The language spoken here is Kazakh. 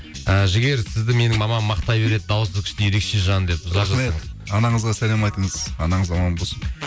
і жігер сізді менің мамам мақтай береді дауысы күшті ерекше жан деп рахмет анаңызға сәлем айтыңыз анаңыз аман болсын